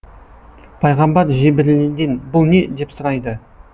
пайғамбар жебірейілден бұл не деп сұрайды